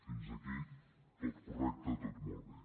fins aquí tot correcte tot molt bé